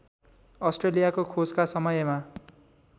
अस्ट्रेलियाको खोजका समयमा